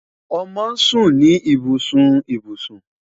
Ọmọ sun ni ibusun ibusun